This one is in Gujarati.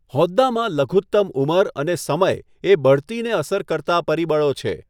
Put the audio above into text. હોદ્દામાં લઘુતમ ઉંમર અને સમય એ બઢતીને અસર કરતા પરિબળો છે.